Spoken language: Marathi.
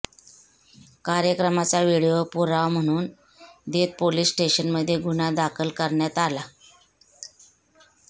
कार्यक्रमाचा व्हिडिओ पुरावा म्हणून देत पोलीस स्टेशनमध्ये गुन्हा दाखल करण्यात आला